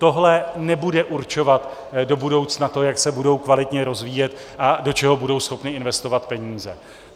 Tohle nebude určovat do budoucna to, jak se budou kvalitně rozvíjet a do čeho budou schopny investovat peníze.